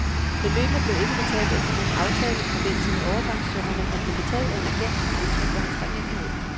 Beløbene blev ikke betalt efter nogen aftale i forbindelse med overgangssummerne, men blev betalt af en agent som udtryk for hans taknemmelighed.